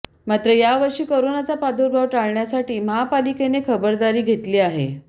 मात्र यावर्षी कोरोनाचा प्रादुर्भाव टाळण्यासाठी महापालिकेने खबरदारी घेतली आहे